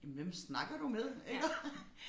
Jamen hvem snakker du med iggå?